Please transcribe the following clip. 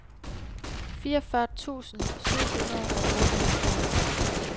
fireogfyrre tusind syv hundrede og otteoghalvfjerds